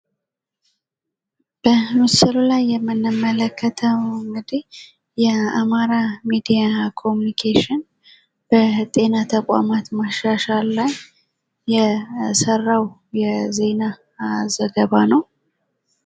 በምስሉ ላይ የምንመለከተው የአማራ ሚዲያ ኮሙኒኬሽን በጤና ተቋማት ማሻሻል ላይ የሰራው የዜና ዘገባ ነው።